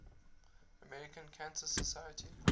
american cancer society